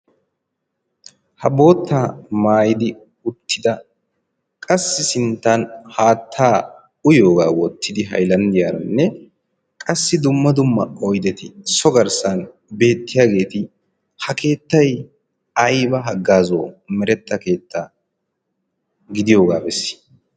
Ha boottaa maayidi uttida qassi sinttaan haattaa uyiyogaa wottidi haylanddiyaranne qassi dumma dumma oydeti so garssan beettiyageeti ha keettay ayba haggaazo meretta keetta gidiyogaa bessii?